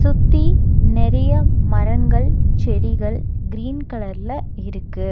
சுத்தி நெறைய மரங்கள் செடிகள் கிரீன் கலர்ல இருக்கு.